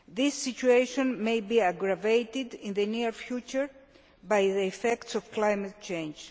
This situation may be aggravated in the near future by the effects of climate change.